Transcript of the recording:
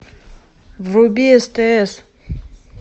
вруби стс